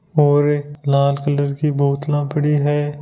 और लाल कलर की बोतला पड़ी है।